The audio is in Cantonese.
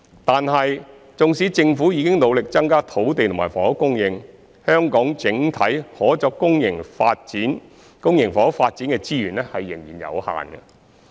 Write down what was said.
但是，縱使政府已努力增加土地和房屋供應，香港整體可作公營房屋發展的資源仍然有限。